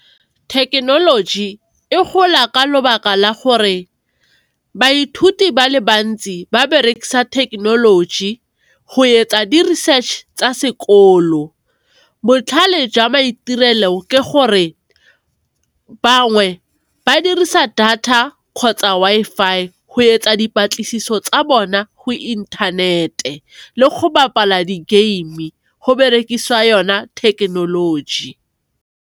Thekenoloji e gola ka lebaka la gore baithuti ba le bantsi ba berekisa thekenoloji go etsa di research tsa sekolo. Botlhale jwa maitirelo ke gore, bangwe ba dirisa data kgotsa Wi-Fi go etsa dipatlisiso tsa bona go inthanete le go bapala di game go berekisiwa yona thekenoloji.